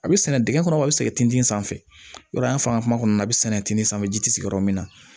A bɛ sɛnɛ dingɛ kɔnɔ a bɛ sɛgɛn tintin sanfɛ yɔrɔ kɔnɔna na a bɛ sɛnɛ tiginin sanfɛ ji ti sigi yɔrɔ min na